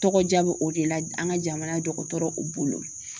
Tɔgɔdiya bɛ o de la an ka jamana dɔgɔtɔrɔw bolo